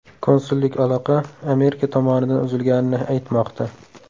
Konsullik aloqa Amerika tomonidan uzilganini aytmoqda.